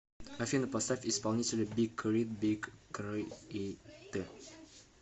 афина поставь исполнителя биг крит биг к р и т